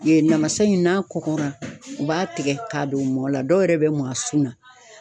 Ye namasa in n'a kɔkɔra u b'a tigɛ k'a don u mɔ la dɔw yɛrɛ bɛ mɔn sun na.